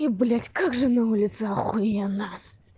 и блять как же на улице ахуенно